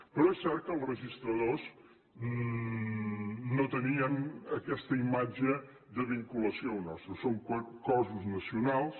però és cert que els registradors no tenien aquesta imatge de vinculació a allò nostre són cossos nacionals